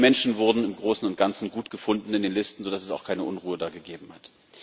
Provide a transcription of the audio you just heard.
Die Menschen wurden im Großen und Ganzen gut gefunden in den Listen, so dass es auch da keine Unruhe gegeben hat.